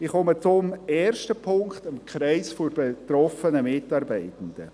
Ich komme zum ersten Punkt, dem Kreis der betroffenen Mitarbeitenden.